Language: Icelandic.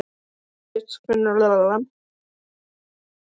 Mánadís, hvenær kemur vagn númer fjögur?